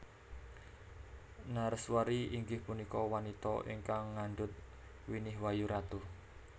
Nareswari inggih punika wanita ingkang ngandhut winih wayu ratu